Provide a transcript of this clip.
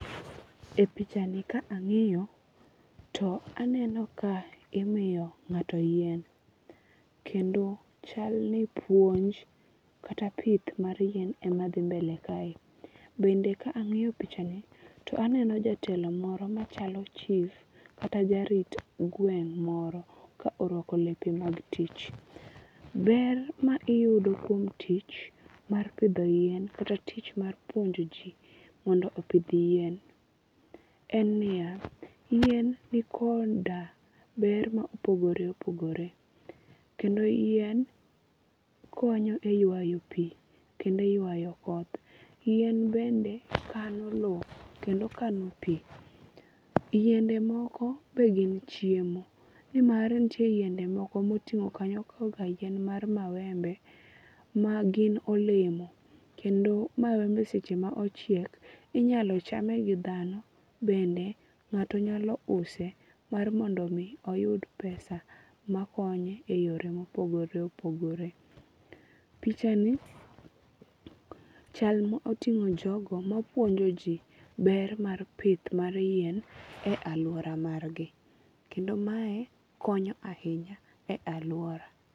E pichani ka ang'iyo to aneno ka imiyo ng'ato yien. Kendo chal ni puonj kat pith mar yien ema dhimbele ka e. Bende ka ang'iyo pichani to aneno jatelo moro machalo chif kata jarit gweng' moro ka orwako lepe mag tich. Ber ma iyudo kuom tich mar pidho yien kata tich mar puonjo ji mondo opidh yien en niya, yien ni koda ber ma opogore opogore kendo yien konyo e ywayo pi kendo e ywayo koth. Yien bende kano low kendo kano pi. Yiende moko be gin chiemo. Nimar nitie yiende moko miting'o kanyo kaka yien mar mawembe ma gin olemo. Kendo mawembe seche ma ochiek inyalo chame gi dhano bende ng\'ato nyalo use mar mondo mi oyud pesa ma konye e yore mopogore opogore. Pichani chal mo otingo jogo mapuonjo ji ber mar pith mar yien e aluora margi. Kendo mae konyo ahinya e aluora.